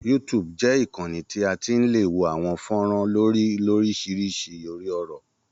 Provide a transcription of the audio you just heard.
YouTube jẹ́ ìkanni tí a ti lè wo àwọn fọ́nrán lórí oríṣiríṣi orí-ọ̀rọ̀.